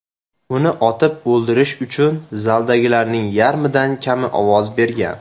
Uni otib o‘ldirish uchun zaldagilarning yarmidan kami ovoz bergan.